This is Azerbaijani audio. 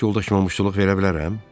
Həyat yoldaşıma müştuluq verə bilərəm?